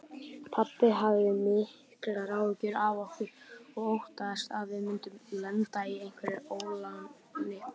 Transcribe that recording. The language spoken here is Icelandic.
Pabbi hafði miklar áhyggjur af okkur og óttaðist að við myndum lenda í einhverju óláni.